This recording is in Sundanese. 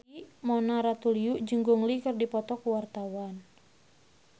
Mona Ratuliu jeung Gong Li keur dipoto ku wartawan